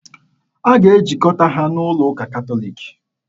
A ga-ejikọta ha n'ụlọ ụka Katọliki.